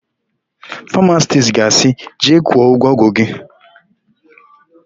Famasisti ga-asị, "jee kwụọ ụgwọ ọgwụ gị"!